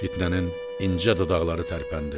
Fitnənin incə dodaqları tərpəndi.